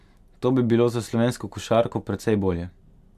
To bi bilo za slovensko košarko precej bolje.